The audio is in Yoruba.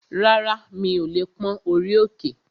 Rárá, mi ò lè pón orí òkè